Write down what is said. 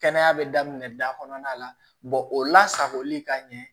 Kɛnɛya bɛ daminɛ da kɔnɔna la o la sagoli ka ɲɛ